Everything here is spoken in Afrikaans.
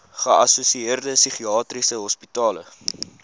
geassosieerde psigiatriese hospitale